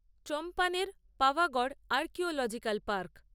চম্পানের-পাভাগড় archaeological park